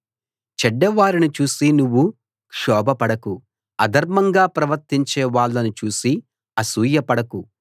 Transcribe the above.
చెడ్డ వారిని చూసి నువ్వు క్షోభపడకు అధర్మంగా ప్రవర్తించే వాళ్ళని చూసి అసూయ పడకు